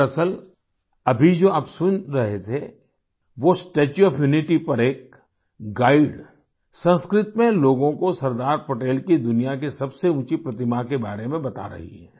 दरअसल अभी जो आप सुन रहे थे वो स्टेच्यू ओएफ यूनिटी पर एक गाइड संस्कृत में लोगों को सरदार पटेल की दुनिया की सबसे ऊंची प्रतिमा के बारे में बता रही हैं